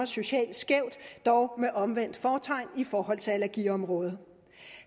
socialt skævt dog med omvendt fortegn i forhold til allergiområdet